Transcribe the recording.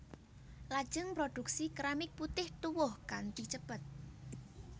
Lajeng produksi keramik putih tuwuh kanthi cepet